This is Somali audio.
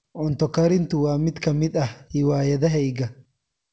Cunto karintu waa mid ka mid ah hiwaayadahayga.